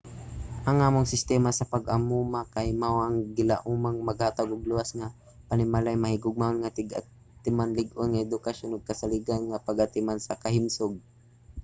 ang among sistema sa pag-amuma kay mao ang gilaumang maghatag og luwas nga mga panimalay mahigugmaon nga tig-atiman lig-on nga edukasyon ug kasaligan nga pag-atiman sa kahimsog